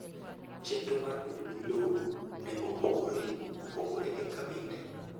Chenro mar pedo gi lowo ne opogore opogore e kabinde